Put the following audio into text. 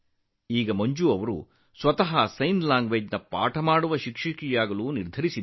ಈಗ ಸ್ವತಃ ಮಂಜು ಅವರು ಸಂಜ್ಞೆ ಭಾಷಾ ಶಿಕ್ಷಕರಾಗಲು ನಿರ್ಧರಿಸಿದ್ದಾರೆ